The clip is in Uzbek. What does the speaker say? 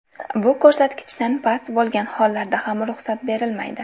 Bu ko‘rsatkichdan past bo‘lgan hollarda ham ruxsat berilmaydi.